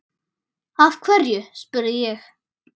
Af hverju? spurði ég.